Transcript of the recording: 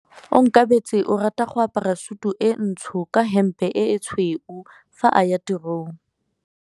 Onkabetse o rata go apara sutu e ntsho ka hempe e tshweu fa a ya tirong.